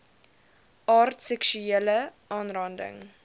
aard seksuele aanranding